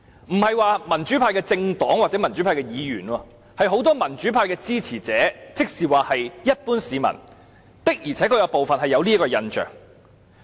我不是指民主派的政黨或民主派的議員有這印象，而是很多民主派支持者，也就是一般市民的而且確有這種印象。